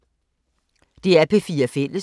DR P4 Fælles